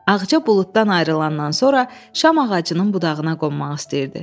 Ağca buluddan ayrılandan sonra şam ağacının budağına qonmaq istəyirdi.